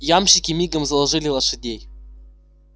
ямщики мигом заложили лошадей